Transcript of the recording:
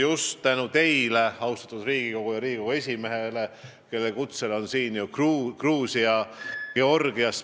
Just tänu teile, austatud Riigikogu, oli siin Georgia spiiker, kes tuli siia Riigikogu esimehe kutsel.